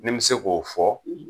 Ni n be se k'o fɔ